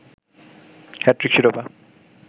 hat trick শিরোপা